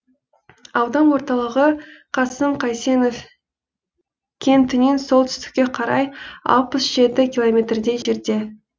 аудан орталығы қасым қайсенов кентінен солтүстікке қарай алпыс жеті километрдей жерде